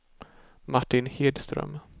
Martin Hedström